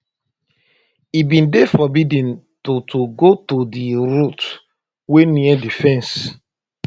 e bin dey forbidden to to go to di route wey near di fence